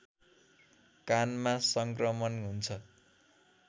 कानमा सङ्क्रमण हुन्छ